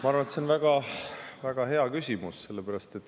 Ma arvan, et see on väga hea küsimus.